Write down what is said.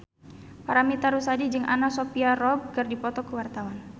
Paramitha Rusady jeung Anna Sophia Robb keur dipoto ku wartawan